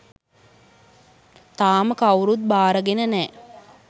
තාම කවුරුවත් බාරගෙන නෑ.